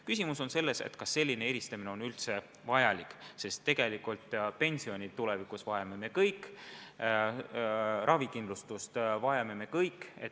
Küsimus on selles, kas selline eristamine on üldse vajalik, sest tegelikult pensionit tulevikus vajame me kõik, ravikindlustust vajame me kõik.